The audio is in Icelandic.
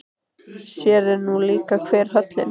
Sér er nú líka hver höllin.